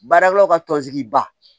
Baarakɛlaw ka tɔnsigiba